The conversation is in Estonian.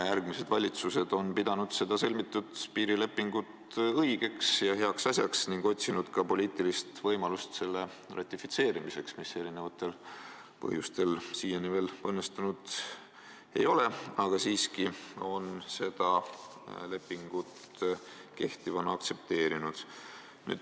Järgmised valitsused on pidanud seda sõlmitud piirilepingut õigeks ja heaks asjaks ning otsinud ka poliitilist võimalust see ratifitseerida, mis eri põhjustel siiani veel õnnestunud ei ole, aga siiski on seda lepingut kehtivana aktsepteeritud.